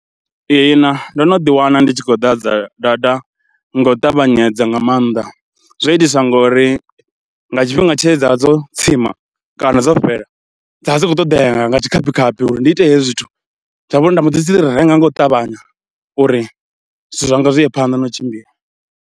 Ihina ndo no ḓiwana ndi tshi khou ḓadza data nga u ṱavhanyedza nga maanḓa, zwo itiswa ngori nga tshifhinga tshe dza vha dzo tsima kana dzo fhela dza vha dzi khou ṱoḓea nga nga tshikhaphikhaphi uri ndi ite hezwi zwithu, nda vha uri nda mbo ḓi dzi renga nga u ṱavhanya uri zwithu zwanga zwi ye phanḓa na u tshimbila.